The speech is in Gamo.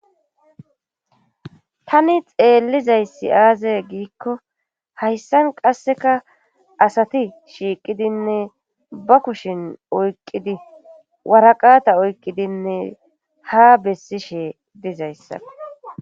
tani xeellizayssi aaze giikko hayssan qasseka asati shiiqidinne ba kushin oyqqidi waraqata oyqqidinne ha bessishe dizayssa